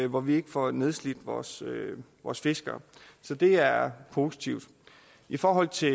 hvor vi ikke får nedslidt vores vores fiskere så det er positivt i forhold til